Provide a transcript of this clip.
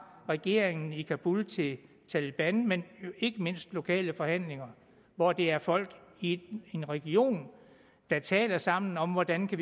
regeringen i kabul til taleban men ikke mindst lokale forhandlinger hvor det er folk i en region der taler sammen om hvordan de